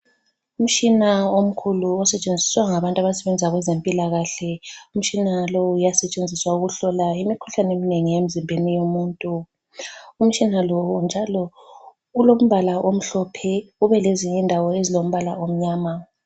Umtshina omkhulu osetshenziswa ngabantu abasebenza kwezempilakahle umtshina lowu uyasetshenziswa ukuhlola imikhuhlane emnengi emzimbeni yomuntu. Umtshina lo njalo ulombala omhlophe ube lezinyi ndawo ezilombala omnyama.